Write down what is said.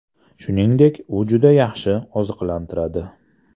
Shuningdek, u juda yaxshi oziqlantiradi.